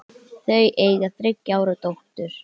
Þau eiga þriggja ára dóttur.